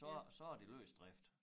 Så så er det løs drift